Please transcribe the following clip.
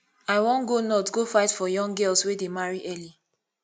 i wan go north go fight for young girls wey dey marry early